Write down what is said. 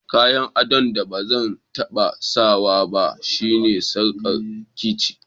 Kayan addon da bazan tabba sa ba shine sarkar ciki.